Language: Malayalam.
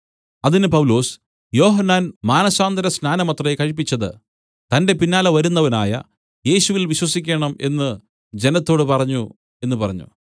അതിന് പൗലൊസ് യോഹന്നാൻ മനസാന്തരസ്നാനമത്രേ കഴിപ്പിച്ചത് തന്റെ പിന്നാലെ വരുന്നവനായ യേശുവിൽ വിശ്വസിക്കണം എന്ന് ജനത്തോടു പറഞ്ഞു എന്നു പറഞ്ഞു